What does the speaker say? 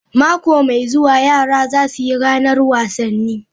Mako mai zuwa, yara za su yi ranar wasanni.